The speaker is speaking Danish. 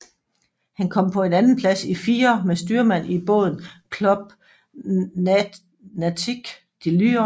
Han kom på en andenplads i firer med styrmand i båden Club Nautique de Lyon